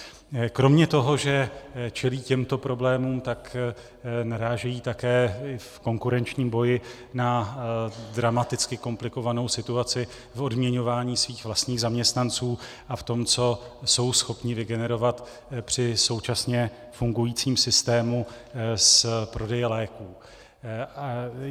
Kromě toho, že čelí těmto problémům, tak narážejí také v konkurenčním boji na dramaticky komplikovanou situaci v odměňování svých vlastních zaměstnanců a v tom, co jsou schopni vygenerovat při současně fungujícím systému z prodeje léků.